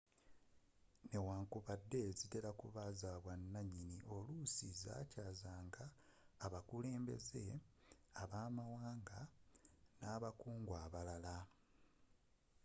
newankubadde zitera kuba z'abwannanyini oluusi z'akyaazanga abakulembeze b'amawanga nabakungu abalala